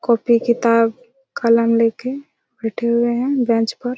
copy किताब कलम लेके बैठे हुए हैं बेंच पर--